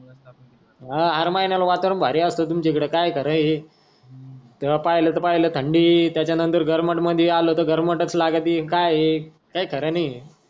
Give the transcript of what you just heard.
हा हर महिन्याला वातावरण भारी अस्त तुमच्या इकडे काय खर आहे तेव्हा पाहिलं त पाहिलं थंडी त्याचा नतर गर्मट मधी आलो त गर्मटच लागत ती काय हे काही खर नाही.